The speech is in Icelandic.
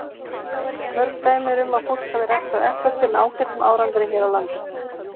Mörg dæmi eru um að fólk hafi ræktað eplatré með ágætum árangri hér á landi.